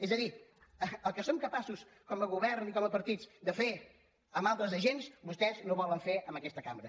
és a dir el que som capaços com a govern i com a partit de fer amb altres agents vostès no ho volen fer en aquesta cambra